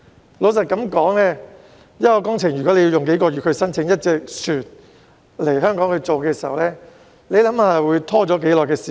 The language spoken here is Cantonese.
坦白說，如果一項工程要耗用數個月申請一艘船來港的話，會拖延多長時間？